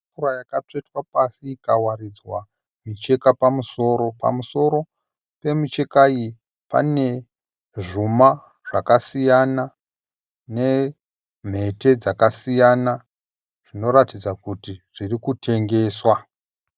Tafura yakatsvetwa pasi ikawaridzwa micheka pamusoro. Pamusoro pemicheka iyi pane zvuma zvakasiyana nemhete dzakasiyana zvinoratidza kuti zviri kutengeswa.